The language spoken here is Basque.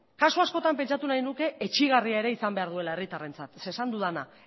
kasu askotan pentsatu nahi nuke etsigarria ere izan behar duela herritarrentzat zeren eta